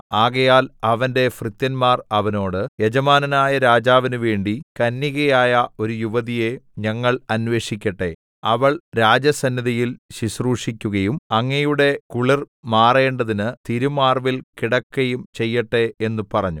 ആകയാൽ അവന്റെ ഭൃത്യന്മാർ അവനോട് യജമാനനായ രാജാവിനുവേണ്ടി കന്യകയായ ഒരു യുവതിയെ ഞങ്ങൾ അന്വേഷിക്കട്ടെ അവൾ രാജസന്നിധിയിൽ ശുശ്രൂഷിക്കയും അങ്ങയുടെ കുളിർ മാറേണ്ടതിന് തിരുമാർവ്വിൽ കിടക്കയും ചെയ്യട്ടെ എന്ന് പറഞ്ഞു